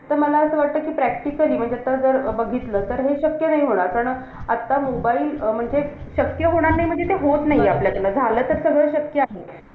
तर मला असं वाटतं कि practically म्हणजे आता जर बघितलं, तर हे शक्य नाही होणार. कारण आता mobile अं म्हणजे शक्य होणार नाही. म्हणजे ते होत नाहीये आपल्याकडनं. झालं तर सगळं शक्य आहे.